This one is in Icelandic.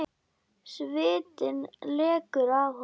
Svitinn lekur af honum.